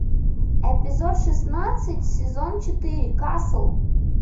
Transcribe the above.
эпизод шестнадцать сезон четыре касл